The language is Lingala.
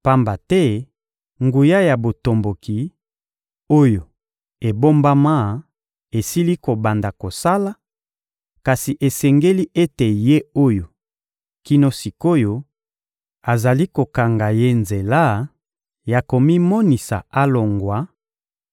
Pamba te nguya ya botomboki, oyo ebombama esili kobanda kosala; kasi esengeli ete Ye oyo, kino sik’oyo, azali kokanga ye nzela ya komimonisa alongwa